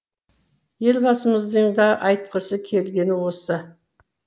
елбасымыздың да айтқысы келгені осы